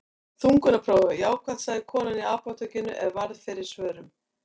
Þungunarprófið var jákvætt, sagði kona í apótekinu er varð fyrir svörum.